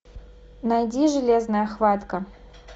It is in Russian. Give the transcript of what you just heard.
найди железная хватка